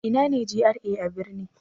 Ina ne GRA a birni?